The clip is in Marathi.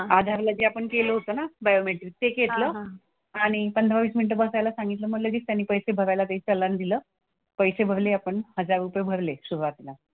आधारला जे आपण केलं होतं ना बायोमेट्रिक ते घेतलं. आणि पंधरा-वीस मिनिटं बसायला सांगितलं. मग लगेच त्यांनी पैसे भरायला ते चलान दिलं. पैसे भरले आपण हजार रुपये भरले सुरुवातीला.